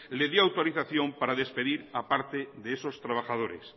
le dio autorización para despedir a parte de esos trabajadores